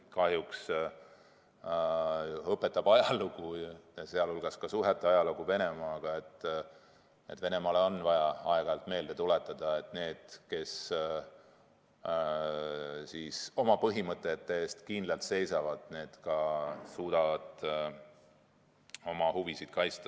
Kahjuks õpetab ajalugu, sealhulgas ka Venemaa suhete ajalugu, et Venemaale on vaja aeg-ajalt meelde tuletada, et need, kes oma põhimõtete eest kindlalt seisavad, suudavad suhetes Venemaaga ka oma huvisid kaitsta.